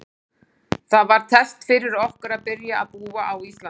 Það var test fyrir okkur að byrja að búa á Íslandi.